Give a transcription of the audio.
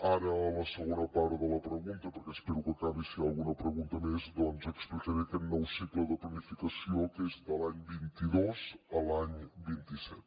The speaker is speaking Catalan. ara a la segona part de la pregunta perquè espero que acabi per si hi ha alguna pregunta més doncs explicaré aquest nou cicle de planificació que és de l’any vint dos a l’any vint set